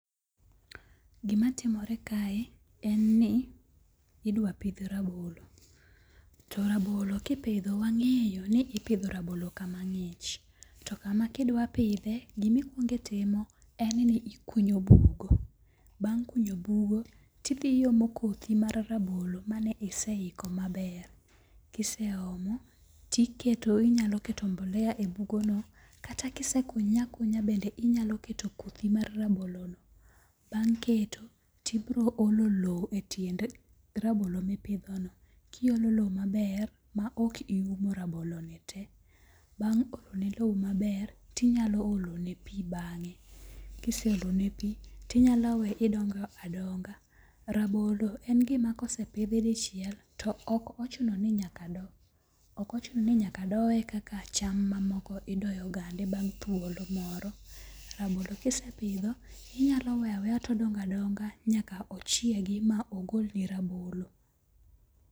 Gima timore kae en ni idwa pidh rabolo. To rabolo kipidho wang'eyo ni ipidho rabolo kama ng'ich. To kama kidwa pidhe, gimikwongo itimo en ni ikunyo bugo. Bang' kunyo bugo tidhi omo kothi mar rabolo mane iseiko maber. Kise omo, inyalo keto mbolea e bugo no. Kata kise kunye akunya bende inyalo ket kothi mar rabolo no. Bang' keto to ibiro olo low e tiend rabolo ma ipidho no. Kiolo lo maber ma ok iumo rabolo no te. Bang' olo ne low maber tinyalo olo ne pi bang'e. Kise olo ne pi tinyalo we odongo adongo. Rabolo en gima kosepidhi dichiel to ok ochuno ni nyaka doye kaka cham mamoko idoyo gande bang' thuolo moro. Rabolo kisepidho inyalo weyo aweya todongo adonga nyaka ochiegi ma ogolni rabolo.